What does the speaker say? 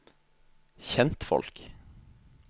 kjentfolk